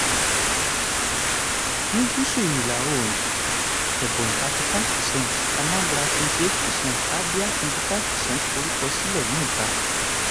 ní gúsù ìlà oòrùn ebonyi thirty five per cent anambra twenty eight per cent abia twenty five per cent forúkọ sílẹ̀ ní ìta.